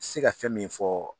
se ka fɛn min fɔ